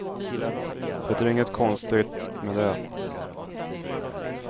Det är inget konstigt med det.